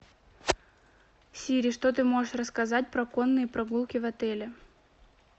сири что ты можешь рассказать про конные прогулки в отеле